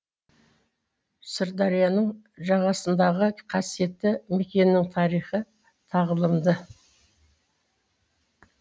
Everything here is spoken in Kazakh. сырдарияның жағасындағы қасиетті мекеннің тарихы тағлымды